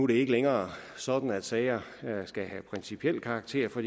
det ikke længere sådan at sager skal have principiel karakter for